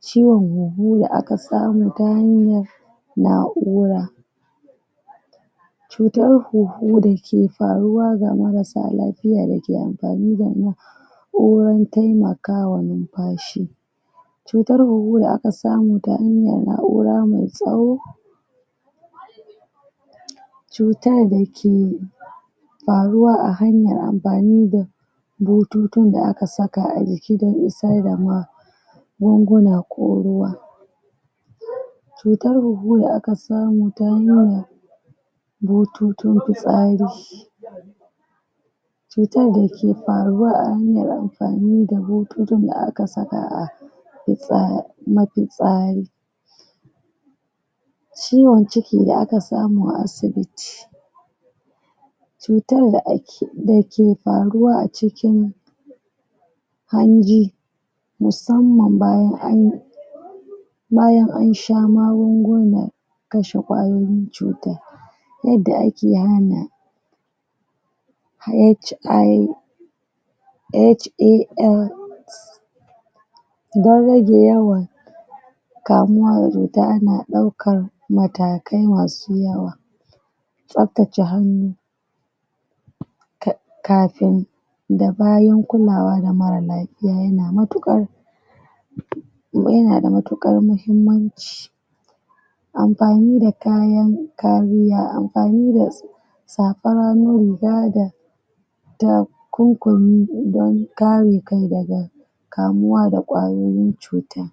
ciwon hunhu da aka samu ta hanyar na'ura cutar hunhu da ke faruwa ga marasa lapiya da ke ampani da na' uran taimakawa numpashi cutar hunhu da aka samu ta hanyar na'ura mai tsawo cutar da ke paruwa a hanyar ampani da bututun da aka saka runguna ko ruwa, cutar hunhu da aka samu ta hanyar bututun pitsari cutar da ke faruwa a hanyar amfani da bututun da aka saka a mafitsari ciwon ciki da aka samu a asibiti cutar da ke paruwa a cikin hanji, musamman bayan an sha magungunan kashe ƙwayoyin cutan yadda ake hana hais dare da yamma kamuwa da tana ɗaukar matakai masu yawa tsaptace hannu kafin dabayin kulawa da marar lapiya yana mutuƙar yana da mutuƙar muhimmanci ampani da kayan kariya, ampani da sapan hannu, riga da takunkumi don kare kai daga kamuwa da ƙwayoyin cuta.